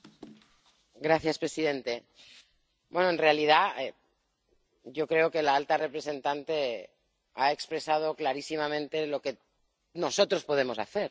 Señor presidente, en realidad, yo creo que la alta representante ha expresado clarísimamente lo que nosotros podemos hacer.